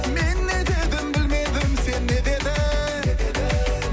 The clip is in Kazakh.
мен не дедім білмедім сен не дедің не дедің